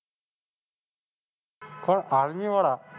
કોણ Army વાળા?